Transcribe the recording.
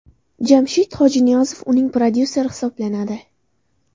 Jamshid Hojiniyozov uning prodyuseri hisoblanadi.